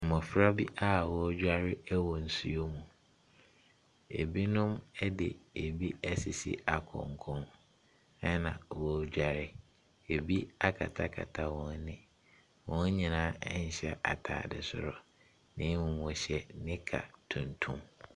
Mmɔfra bi a ɔredware ɛwɔ nsuo mu. Ebinom ɛde ebi ɛsisi akɔnkɔn ɛna ɔredware. Ebi akatakata wɔn ani. Wɔn nyinaa ɛnhyɛ ataade soro na mmom wɔhyɛ nika tuntum.